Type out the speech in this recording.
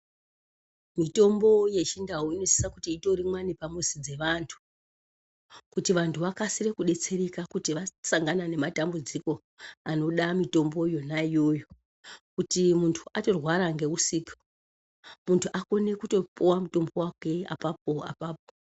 Mitombo yechindau inosisa kuti itorimwa nemumizi dzevantu kuitira kuti vantu vakasire kudetsereka kana vasangana nedambidziko anoda mitombo yona iyoyo kuti muntu atorwara ngeusiku muntu atokona kupuwa mutombo wake apapo apapo.